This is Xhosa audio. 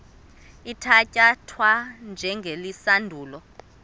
ithatya thwa njengesilandulo